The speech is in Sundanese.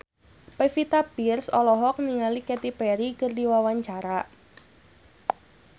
Pevita Pearce olohok ningali Katy Perry keur diwawancara